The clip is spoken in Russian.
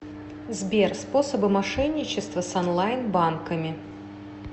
сбер способы мошенничества с онлайн банками